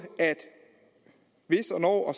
at hvis og når og